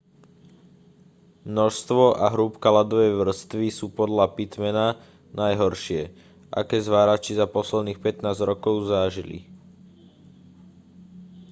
množstvo a hrúbka ľadovej vrstvy sú podľa pittmana najhoršie aké zvárači za posledných 15 rokov zažili